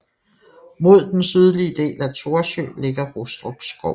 Mod den sydlige del af Thorsø ligger Rustrup Skov